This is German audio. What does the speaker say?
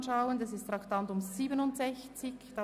Es handelt sich um das Traktandum 67.